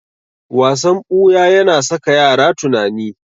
Wasan ɓuya yana saka yara tunani.